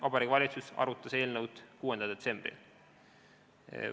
Vabariigi Valitsus arutas eelnõu 6. detsembril.